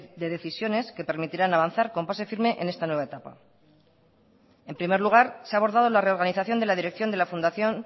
de decisiones que permitirán avanzar con paso firme en esta nueva etapa en primer lugar se ha abordado la reorganización de la dirección de la fundación